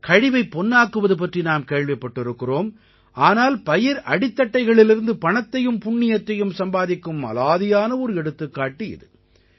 கழிவைப் பொன்னாக்குவது பற்றி நாம் கேள்விப்பட்டிருக்கிறோம் ஆனால் பயிர் அடித்தட்டைகளிலிருந்து பணத்தையும் புண்ணியத்தையும் சம்பாதிக்கும் அலாதியான ஒரு எடுத்துக்காட்டு இது